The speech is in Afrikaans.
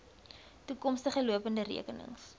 toekomstige lopende rekenings